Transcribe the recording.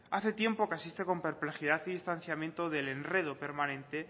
hace tiempo que asiste con perplejidad y distanciamiento del enredo permanente